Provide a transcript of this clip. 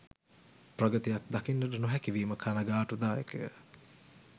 ප්‍රගතියක් දකින්නට නොහැකිවීම කණගාටුදායක ය.